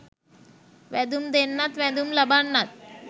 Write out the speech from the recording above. වැදුම් දෙන්නත් වැදුම් ලබන්නත්